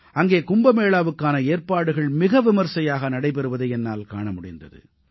அங்கே கும்பமேளாவுக்கான ஏற்பாடுகள் மிக விமர்சையாக நடைபெறுவதை என்னால் காண முடிந்தது